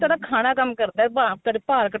ਤੁਹਾਡਾ ਖਾਣਾ ਕੰਮ ਕਰਦਾ ਭਾਰ ਤੁਹਾਡੇ ਭਾਰ ਘਟਾਉਣ